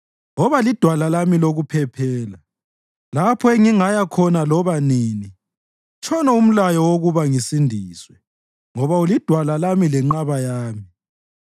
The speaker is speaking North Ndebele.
Woba lidwala lami lokuphephela, lapho engingaya khona loba nini; tshono umlayo wokuba ngisindiswe, ngoba ulidwala lami lenqaba yami.